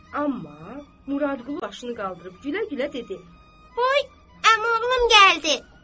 Amma Muradqulu başını qaldırıb gülə-gülə dedi: “Ay əmi oğlum gəldi.”